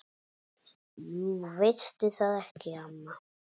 Jú veistu það ekki, amma?